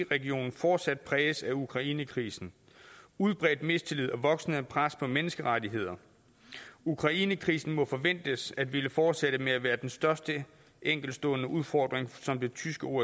regionen fortsat præges af ukrainekrisen udbredt mistillid og voksende pres på menneskerettigheder ukrainekrisen må forventes at ville fortsætte med at være den største enkeltstående udfordring som det tyske